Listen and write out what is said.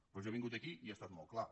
però jo he vingut aquí i he estat molt clar